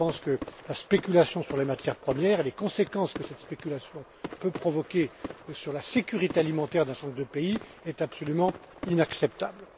Je pense que la spéculation sur les matières premières et les conséquences que cette spéculation peut provoquer sur la sécurité alimentaire d'un certain nombre de pays sont absolument inacceptables.